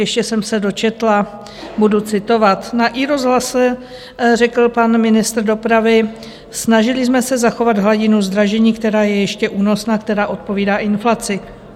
Ještě jsem se dočetla, budu citovat - na iRozhlase řekl pan ministr dopravy: Snažili jsme se zachovat hladinu zdražení, která je ještě únosná, která odpovídá inflaci.